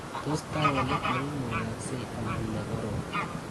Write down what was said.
Tos taonit neimukagse anan nekorom?